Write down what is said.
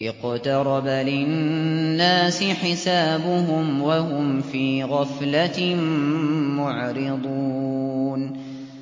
اقْتَرَبَ لِلنَّاسِ حِسَابُهُمْ وَهُمْ فِي غَفْلَةٍ مُّعْرِضُونَ